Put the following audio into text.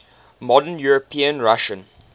modern european russia